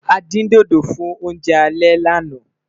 a dín dodo fún oúnjẹ alè lànà